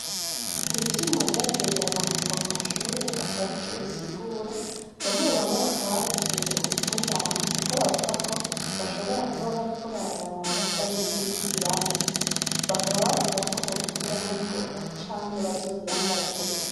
Hari ivyuma vyagiye biramanikwa mu mashure batazi ivyo bisigura, bamwebamwe bakaba barituye ubutungane kuko bavuga ko bashobora Kuba bariko barabaraba bari mukindi kibanza, bakaba bavuga ko bobikuraho ningoga canke bazobirandagure.